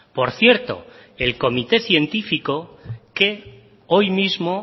por cierto el comité científico que hoy mismo